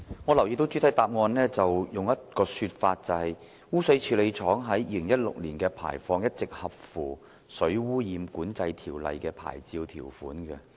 我留意到主體答覆有以下提述，即"污水處理廠於2016年的排放一直合乎《水污染管制條例》的牌照條款"。